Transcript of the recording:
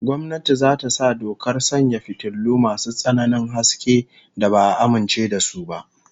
Gwamnati za ta sa dokar sanya fitilu masu tsananin haske da ba'a amince da su ba